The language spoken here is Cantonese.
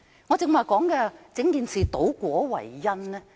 為何我說整件事是倒果為因呢？